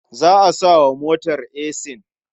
Za a sa wa motar esin.